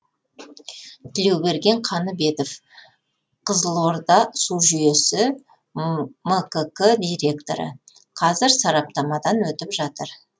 тілеуберген қаныбетов қызылорда су жүйесі мкк директоры қазір сараптамадан өтіп жатыр